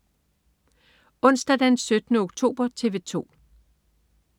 Onsdag den 17. oktober - TV 2: